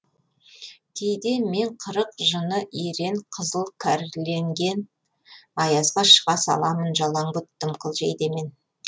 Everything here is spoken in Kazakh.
кейде мен қырық жыны ерен қызыл кәрленген аязға шыға саламын жалаңбұт дымқыл жейдемен